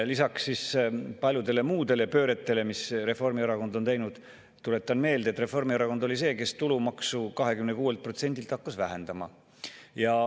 Lisaks paljudele muudele pööretele, mis Reformierakond on teinud, tuletan meelde, et Reformierakond oli see, kes tulumaksu 26%-lt hakkas vähendama.